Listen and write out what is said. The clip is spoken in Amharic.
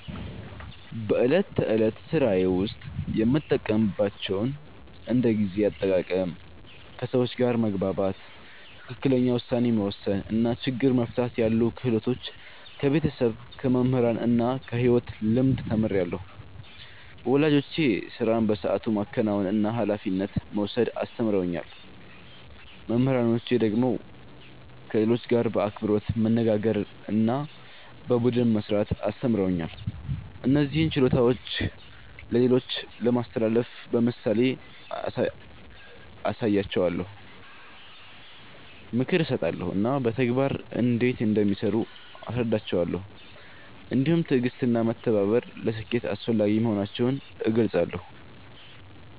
በዕለት ተዕለት ሥራዬ ውስጥ የምጠቀምባቸውን እንደ ጊዜ አጠቃቀም፣ ከሰዎች ጋር መግባባት፣ ትክክለኛ ውሳኔ መወሰን እና ችግር መፍታት ያሉ ክህሎቶች ከቤተሰብ፣ ከመምህራን እና ከሕይወት ልምድ ተምሬአለሁ። ወላጆቼ ሥራን በሰዓቱ ማከናወንና ኃላፊነት መውሰድ አስተምረውኛል። መምህራኖቼ ደግሞ ከሌሎች ጋር በአክብሮት መነጋገርና በቡድን መሥራት አስተምረውኛል። እነዚህን ችሎታዎች ለሌሎች ለማስተላለፍ በምሳሌ አሳያቸዋለሁ፣ ምክር እሰጣለሁ እና በተግባር እንዴት እንደሚሠሩ አስረዳቸዋለሁ። እንዲሁም ትዕግሥትና መተባበር ለስኬት አስፈላጊ መሆናቸውን እገልጻለሁ።